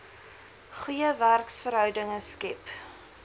goeie werksverhoudinge skep